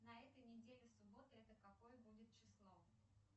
на этой неделе суббота это какое будет число